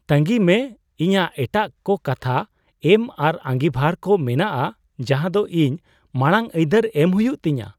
ᱛᱟᱸᱜᱤᱭ ᱢᱮ, ᱤᱧᱟᱜ ᱮᱴᱟᱜ ᱠᱚ ᱠᱟᱛᱷᱟ ᱮᱢ ᱟᱨ ᱟᱸᱜᱤᱵᱷᱟᱨ ᱠᱚ ᱢᱮᱱᱟᱜᱼᱟ ᱡᱟᱦᱟ ᱫᱚ ᱤᱧ ᱢᱟᱲᱟᱝ ᱟᱹᱭᱫᱟᱹᱨ ᱮᱢ ᱦᱩᱭᱩᱜ ᱛᱤᱧᱟ ᱾